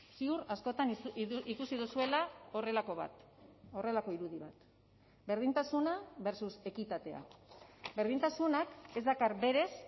ziur askotan ikusi duzuela horrelako bat horrelako irudi bat berdintasuna versus ekitatea berdintasunak ez dakar berez